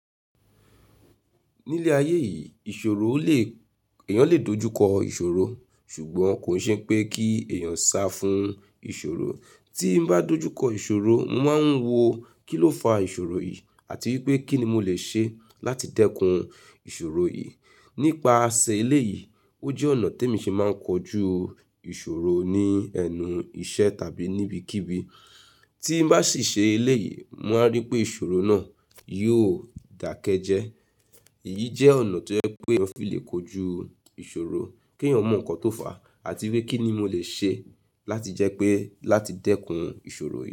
Ní ilé ayé yìí, èèyàn lè dojúkọ ìṣòro ṣùgbọ́n kò ṣe ipé kí èèyàn sá fún ìṣòro. Tí n bá dojúkọ ìṣòro, mo máa ń wo kílófa ìṣòro yìí àti wípé kín ni mo lè ṣe láti dẹ́kun ìṣòro yìí. Nípa ṣè eléyìí ó jẹ́ ọ̀nà tèmi ṣe máa ń kojú ìṣòro ní ẹnu iṣẹ́ tàbí ní ibikíbi tí n bá sì ṣe eléyìí, mo máa rí pé ìṣòro náà yóò dàkẹ́ jẹ́. Èyí jẹ́ ọ̀nà tó jẹ́ pé èèyàn fi lè kojú ìṣòro, kí èèyàn mọ̀ nǹkan tó fà á àti wípé kín ni mo lè ṣe láti jẹ́ pé, láti dẹ́kun ìṣòro yìí.